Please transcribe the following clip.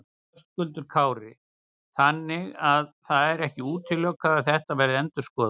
Höskuldur Kári: Þannig að það er ekki útilokað að þetta verði endurskoðað?